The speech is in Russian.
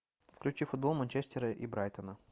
включи футбол манчестера и брайтона